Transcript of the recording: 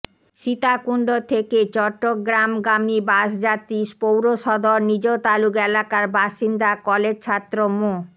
সীতাকুণ্ড থেকে চট্টগ্রামগামী বাসযাত্রী পৌরসদর নিজতালুক এলাকার বাসিন্দা কলেজছাত্র মো